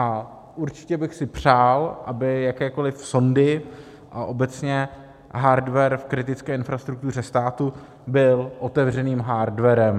A určitě bych si přál, aby jakékoli sondy a obecně hardware v kritické infrastruktuře státu byl otevřeným hardwarem.